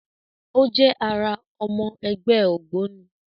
O jẹ àrà ọmọ ẹgbẹ́ ògbóni